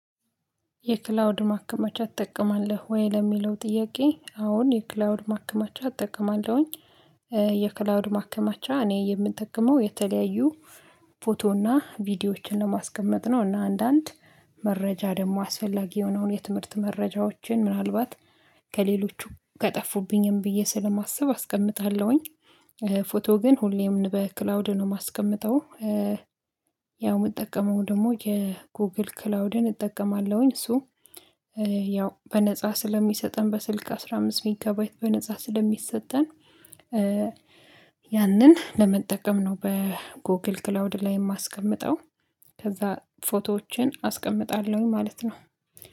የክላውድ ማከመቻ ትጠቀማለህ ወይ? ለሚለው ጥያቄ አወን የክላውድ ማከመቻ እጠቀማለሁኝ። የክላውድ ማከማቻ እኔ የምጠቀመው የተለያዩ ፎቶ እና ቪዲዮዎችን ለማስቀመጥ ነው እና አንዳንድ መረጃ ደግሞ አስፈላጊ የሆነውን የትምህርት መረጃዎችን ምናልባት ከጠፉብኝም ብዬ ስለማስብ አስቀምጣለሁኝ ፎቶ ግን ሁሌም በክላውድ ነው የማስቀምጠው። ያው የምጠቀመው ደግሞ የጎግል ክላውድን እጠቀማለሁኝ እሱ ያው በነፃ ስለሚሰጠን በስልክ አስራ አምስት ጊጋ ባይት በነፃ ስለሚሰጠን ያንን ለመጠቀም ነው በጎግል ክላውድ ላይ የማስቀምጠው። ከዛ ፎቶዎችን አስቀምጣለሁ ማለት ነው።